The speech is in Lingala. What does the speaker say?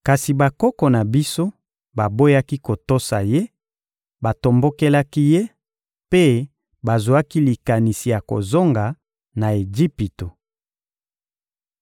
Kasi bakoko na biso baboyaki kotosa ye; batombokelaki ye mpe bazwaki likanisi ya kozonga na Ejipito.